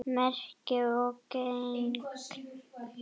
Merkur og gegn.